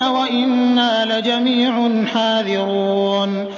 وَإِنَّا لَجَمِيعٌ حَاذِرُونَ